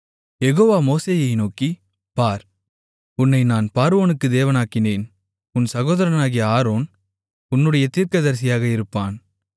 யெகோவா மோசேயை நோக்கி பார் உன்னை நான் பார்வோனுக்கு தேவனாக்கினேன் உன் சகோதரனாகிய ஆரோன் உன்னுடைய தீர்க்கதரிசியாக இருப்பான்